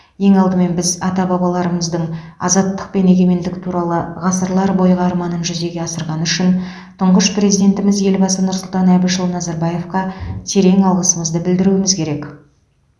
ең алдымен біз ата бабаларымыздың азаттық пен егемендік туралы ғасырлар бойғы арманын жүзеге асырғаны үшін тұңғыш президентіміз елбасы нұрсұлтан әбішұлы назарбаевқа терең алғысымызды білдіруіміз керек